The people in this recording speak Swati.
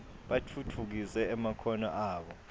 batfutfukise emakhono abo